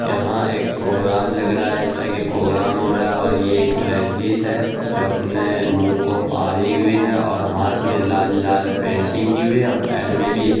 यहां एक प्रोग्राम लग रहा है जैसा कि प्रोग्राम हो रहा है और ये एक लेडिज है जो अपने मुह को फाड़ी हुई है ओर हाथ मे लाल-लाल पेंटिंग कि हुई है और पेर मे भी--